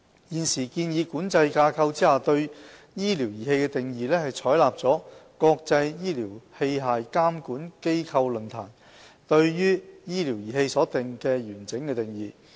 現時建議規管架構下對"醫療儀器"的定義，是採納國際醫療器械監管機構論壇對醫療儀器所訂的完整定義。